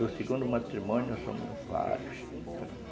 Do segundo matrimônio, nós fomos vários.